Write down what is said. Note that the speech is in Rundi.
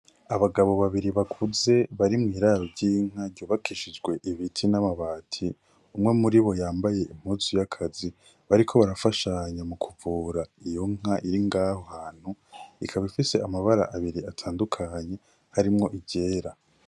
Abagabo babiri bakuze bari mw'iraro ry'inka ryubakishijwe ibiti n' amabati, umwe muribo yambaye impuzu y'akazi, bariko barafashanya mu kuvura iyo nka iri ngaho hantu. Ikaba ifise amabara abiri atandukanye harimwo iryera.